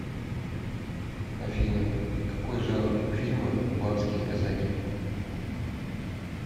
афина какои жанр у фильма кубанские казаки